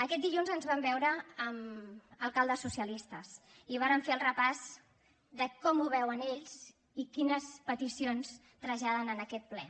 aquest dilluns ens vam veure amb alcaldes socialistes i vàrem fer el repàs de com ho veuen ells i quines peticions traslladen en aquest ple